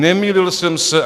Nemýlil jsem se.